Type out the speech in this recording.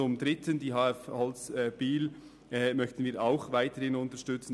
Auch die HF Holz in Biel möchten wir weiterhin unterstützen.